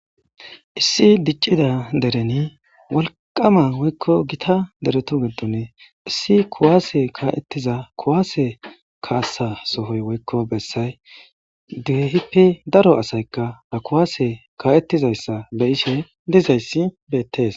Issi dic'ida dereni wolqama woyko gita deretu gidon issi kuwase ka'etiza kuwase kasa sohoy woyko besay kehipe daro asayka ha kuwase ka'etizaysa be'ishe dizaysa beses.